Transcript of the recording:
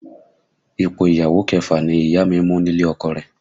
Ipò ìyàwó kẹfà ni Ìyá mi mú nílé ọkọ rẹ̀